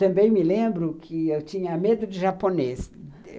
Também me lembro que eu tinha medo de japonês.